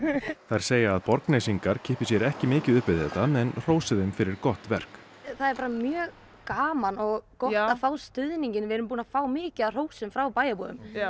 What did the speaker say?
segja að Borgnesingar kippi sér ekki mikið upp við þetta en hrósi þeim fyrir gott verk það er mjög gaman og gott að fá stuðninginn við erum búin að fá mjög mikið af hrósum frá bæjarbúum